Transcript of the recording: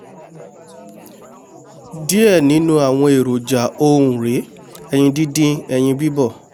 díẹ̀ nínú àwọn èròjà ọ̀hún rèé: ẹyin díndín ẹyin bíbọ̀